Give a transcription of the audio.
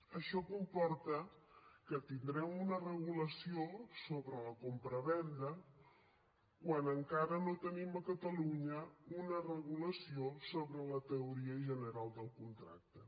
això comporta que tindrem una regulació sobre la compravenda quan encara no tenim a catalunya una regulació sobre la teoria general del contracte